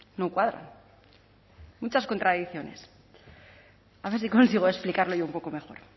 no cuadra muchas contradicciones a ver si consigo explicarlo yo un poco mejor